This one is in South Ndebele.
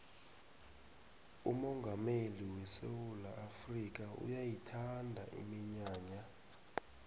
umongameli wesewula afrika uyayithanda iminyanya